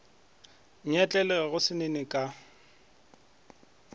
nyetlele go se nene ka